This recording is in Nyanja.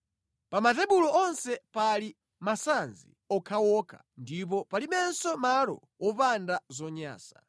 Pa matebulo onse pali masanzi okhaokha ndipo palibenso malo wopanda zonyansa.